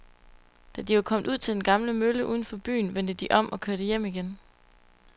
Da de var kommet ud til den gamle mølle uden for byen, vendte de om og kørte hjem igen.